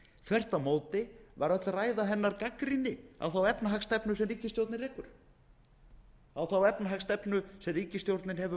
þvert á móti var öll ræða hennar gagnrýni á þá efnahagsstefnu sem ríkisstjórnin rekur þá stefnu sem ríkisstjórnin hefur